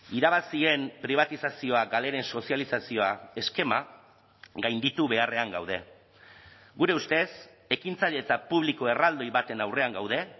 irabazien pribatizazioa galeren sozializazioa eskema gainditu beharrean gaude gure ustez ekintzailetza publiko erraldoi baten aurrean gaude